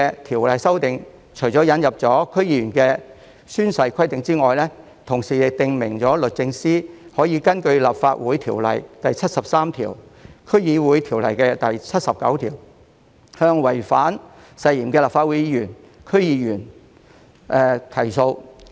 《條例草案》除了引入區議員的宣誓規定外，同時訂明律政司司長可以根據《立法會條例》第73條、《區議會條例》第79條，向違反誓言的立法會議員或區議員提訴。